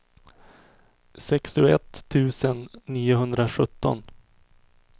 sextioett tusen niohundrasjutton